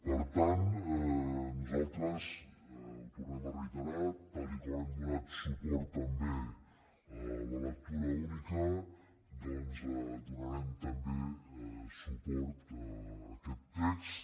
per tant nosaltres ho tornem a reiterar tal com hem donat suport també a la lectura única doncs donarem també suport a aquest text